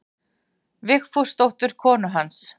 Vigfúsdóttur konu hans.